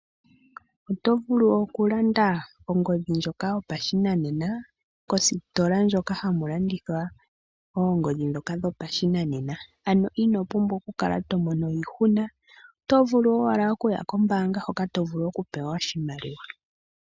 Oto vulu okulanda ongodhi ndjoka yopashinanena kositola ndjoka haku landithwa oongodhi ndhoka dhopashinanena, ano ino pumbwa okukala to mono iihuna, oto vulu owala okuya kombaanga hoka to vulu okupewa oshimaliwa.